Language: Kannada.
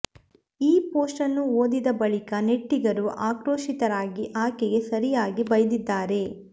ಈ ಪೋಸ್ಟ್ ನ್ನು ಓದಿದ ಬಳಿಕ ನೆಟ್ಟಿಗರು ಆಕ್ರೋಶಿತರಾಗಿ ಆಕೆಗೆ ಸರಿಯಾಗಿ ಬೈದಿದ್ದಾರೆ